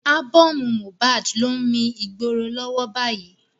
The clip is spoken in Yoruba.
Ábọ́ọ̀mù Mohbad ló ń mi ìgboro lọ́wọ́ báyìí.